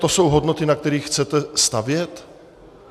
To jsou hodnoty, na kterých chcete stavět?